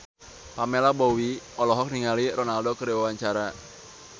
Pamela Bowie olohok ningali Ronaldo keur diwawancara